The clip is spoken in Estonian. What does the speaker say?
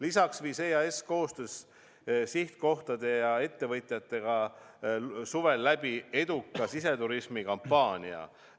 Lisaks viis EAS koostöös sihtkohtade ja ettevõtjatega suvel läbi eduka siseturismikampaania.